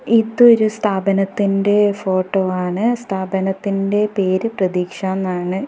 ഇത് ഒരു സ്ഥാപനത്തിൻ്റെ ഫോട്ടോ ആണ് സ്ഥാപനത്തിൻ്റെ പേര് പ്രതീക്ഷാന്നാണ്.